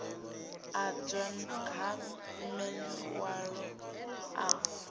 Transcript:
adzwa ha man walo a